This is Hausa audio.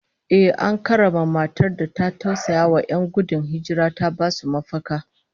Ehh, an karrama matar da ta tausayawa 'yan gudun hijira ta basu mafaka